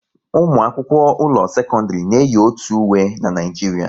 Ụmụ akwụkwọ ụlọ sekọndrị na eyi otu uwe n'Naijiria